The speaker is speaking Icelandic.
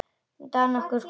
Dag nokkurn kom hann ekki.